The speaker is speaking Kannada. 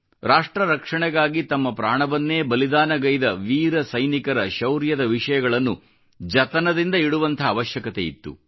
ರಾಷ್ಟ್ರ ರಕ್ಷಣೆಗಾಗಿ ತಮ್ಮ ಪ್ರಾಣವನ್ನೇ ಬಲಿದಾನಗೈದ ವೀರ ಸೈನಿಕರ ಶೌರ್ಯದ ವಿಷಯಗಳನ್ನು ಜತನದಿಂದ ಇಡುವಂಥ ಅವಶ್ಕತೆ ಇತ್ತು